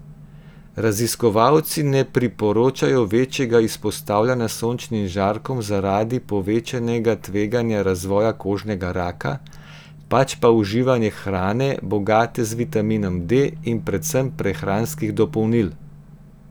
Raziskovalci ne priporočajo večjega izpostavljanja sončnim žarkom zaradi povečanega tveganja razvoja kožnega raka, pač pa uživanje hrane, bogate z vitaminom D, in predvsem prehranskih dopolnil.